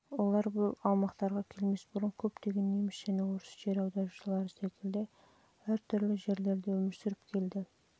олар бұл аймақтарға келмес бұрын көптеген неміс және орыс жер аударушылары секілді әр түрлі жерлерде өмір сүріп көрді